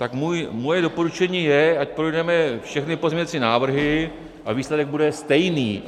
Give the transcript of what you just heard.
Tak moje doporučení je, ať projdeme všechny pozměňovací návrhy, a výsledek bude stejný.